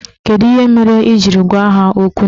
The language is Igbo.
Kedu ihe mere ị jiri gwa ha okwu n'ilu?